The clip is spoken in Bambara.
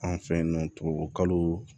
An fɛ yen nɔ tubabukalo